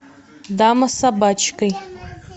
дама с собачкой